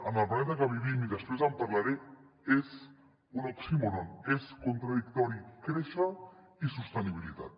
en el planeta en què vivim i després en parlaré és un oxímoron és contradictori créixer i sostenibilitat